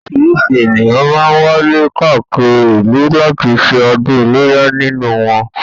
Orísìírísìí ènìyàn máá ń wálé káàkiri ìlú láti ṣe ọdún iléyá nílùú wọn